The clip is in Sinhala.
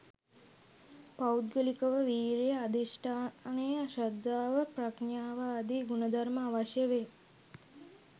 පෞද්ගලිකව වීර්යය, අධිෂ්ඨානය, ශ්‍රද්ධාව ප්‍රඥාව ආදී ගුණධර්ම අවශ්‍ය වේ.